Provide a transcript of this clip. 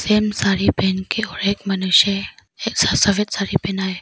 साड़ी पहन के और मनुष्य है सफेद साड़ी पहना है।